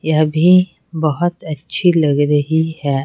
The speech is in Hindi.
यह भी बहुत अच्छी लग रही हैं।